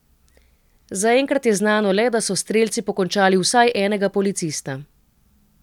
Zaenkrat je znano le, da so strelci pokončali vsaj enega policista.